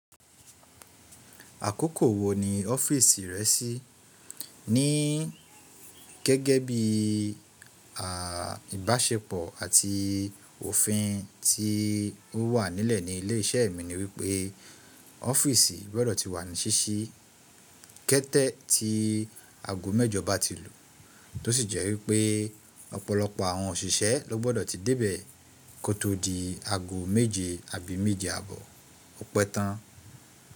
Àkókò wo ni ọ́fíìsì rẹ sí ní gẹ́gẹ́ bí ìbáṣepọ̀ àti òfin tí ó wà nílẹ̀ ní ilé iṣẹ́ mi ni wípé ọ́fíìsì gbọ́dọ̀ ti wà ní ṣíṣí kẹ́tẹ́ ti aago mẹ́jọ ba ti lù, tó sì jẹ́ wípé ọ̀pọ̀lọpọ̀ àwọn òṣìṣẹ́ ló gbọ́dọ̀ ti débẹ̀ kó tó di aago méje àbí méje àbọ̀ ọpẹ́ tán.